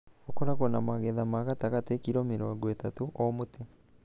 ũkoragwo na magetha ma gatagatĩ (kilo mĩrongo itatu o mũtĩ).